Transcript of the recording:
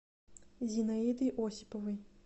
зинаидой осиповой